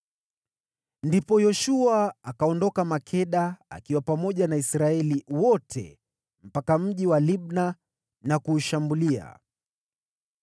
Ndipo Yoshua akaondoka Makeda akiwa pamoja na Israeli yote mpaka mji wa Libna na kuushambulia.